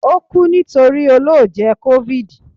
o ku nitori ọlọjẹ covid